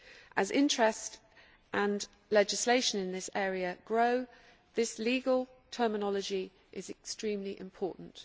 As interest and legislation in this area grow, this legal terminology is extremely important.